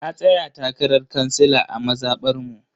Na tsaya takarar kansila a mazabar mu.